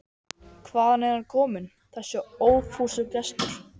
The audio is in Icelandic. Hvaðan er hann kominn, þessi ófúsugestur?